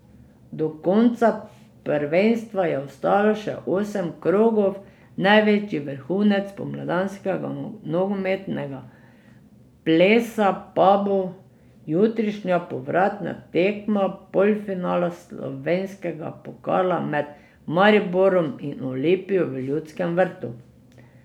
Do konca prvenstva je ostalo še osem krogov, največji vrhunec spomladanskega nogometnega plesa pa bo jutrišnja povratna tekma polfinala slovenskega pokala med Mariborom in Olimpijo v Ljudskem vrtu.